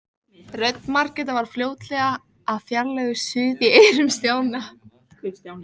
Rödd Margrétar varð fljótlega að fjarlægu suði í eyrum Stjána.